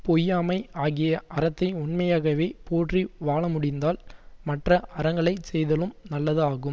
பொய்யாமை ஆகிய அறத்தை உண்மையாகவே போற்றி வாழ முடிந்தால் மற்ற அறங்களை செய்தலும் நல்லது ஆகும்